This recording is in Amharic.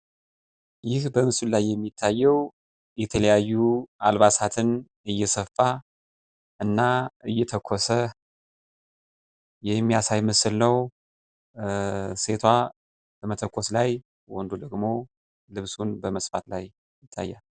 ይህ በምስሉ ላይ የሚታየው የተለያዩ አልባሳትን እየሰፋና እየተኮሰ የሚያሳይ ምስል ነው። ሴቷ መተኮስ ላይ ወንዱ ደግሞ ልብሱን በመስፋት ላይ ይታያል።